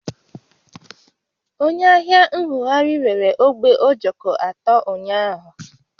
Onye ahịa ṅṅụgharị rere ogbe ojoko atọ ụnyaahụ